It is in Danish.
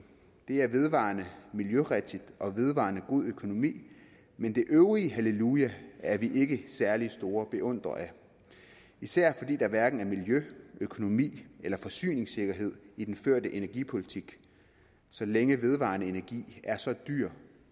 det er vedvarende miljørigtigt og vedvarende god økonomi men det øvrige halleluja er vi ikke særlig store beundrere af især fordi der hverken er miljø økonomi eller forsyningssikkerhed i den førte energipolitik så længe vedvarende energi er så dyr